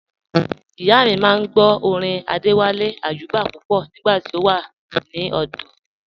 Ìyà mi máa n gbọ̀ orin Adéwálé Ayúbà pupọ̀ nígba tí a wà ní ọdò